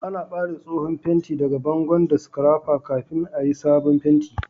Ana bare tsohon fenti daga bangon da scrapper kafin a yi'sabon penti.